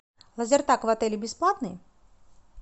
лазертаг в отеле бесплатный